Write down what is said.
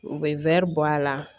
U bɛ wɛri bɔ a la